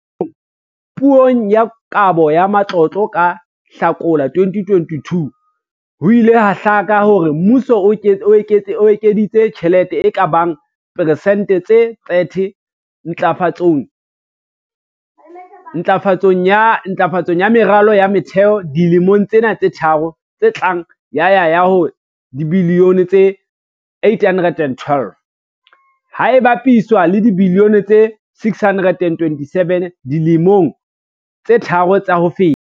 Puong ya Kabo ya Matlotlo ka Hlakola 2022, ho ile ha hlaka hore mmuso o ekeditse tjhelete e ka bang persente tse 30 ntlafatsong ya meralo ya motheo dilemong tsena tse tharo tse tlang ya ya ho dibilione tse R812, ha e bapiswa le dibilione tse R627 dilemong tse tharo tsa ho feta.